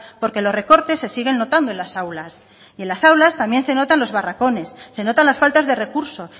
porque los recortes se siguen notando en las aulas y en las aulas también se notan los barracones se notan las faltas de recursos